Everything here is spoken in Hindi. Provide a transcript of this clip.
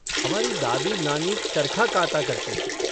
हमारी दादी नानी चरखा काता करती थीं।